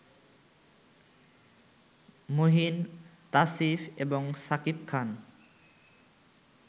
মুহিন, তাসিফ এবং শাকিব খান